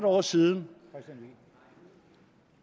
år siden